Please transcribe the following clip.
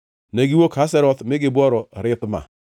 Negiwuok Hazeroth mi gibworo Rithma.